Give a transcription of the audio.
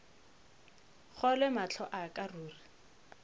kgolwe mahlo a ka ruri